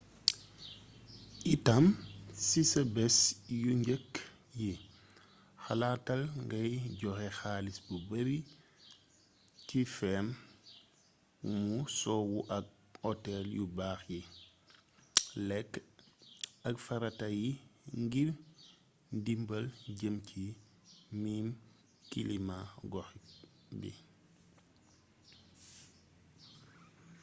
itam si sa bés yu njëkk yi xalaatal ngay joxe xaalis bu bari ci feem wu sowu ak otel yu baax yi lekk ak farata yi ngir ndimbal jëm ci miin kilima gox bi